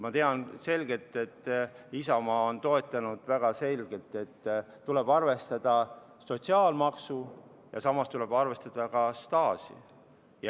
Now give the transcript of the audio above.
Ma tean, et Isamaa on väga toetanud seda, et tuleb arvestada sotsiaalmaksu ja samas tuleb arvestada ka staaži.